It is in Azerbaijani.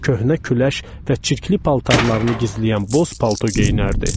Köhnə küləş və çirkli paltarlarını gizləyən boz palto geyinərdi.